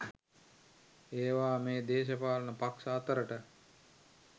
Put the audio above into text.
ඒවා මේ දේශපාලන පක්ෂ අතරට